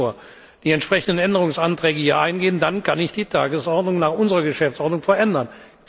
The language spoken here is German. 16.00 Uhr die entsprechenden Änderungsanträge hier eingehen, dann kann ich die Tagesordnung nach unserer Geschäftsordnung verändern.